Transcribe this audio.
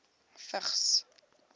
vigs